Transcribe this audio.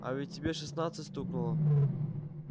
а ведь тебе шестнадцать стукнуло